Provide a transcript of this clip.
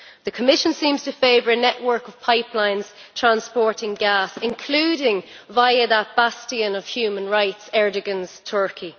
The Commission seems to favour a network of pipelines transporting gas, including via that bastion of human rights, Erdoǧan's Turkey.